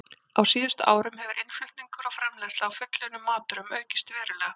Á síðustu árum hefur innflutningur og framleiðsla á fullunnum matvörum aukist verulega.